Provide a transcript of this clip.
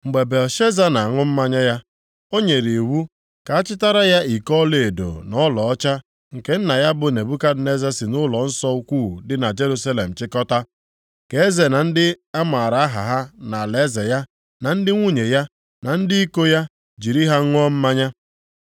Mgbe Belshaza na-aṅụ mmanya ya, ọ nyere iwu ka a chịtara ya iko ọlaedo na ọlaọcha nke nna ya bụ Nebukadneza si nʼụlọnsọ ukwu dị na Jerusalem chịkọta, ka eze na ndị a mara aha ha nʼalaeze ya, na ndị nwunye ya, na ndị iko ya jiri ha ṅụọ mmanya.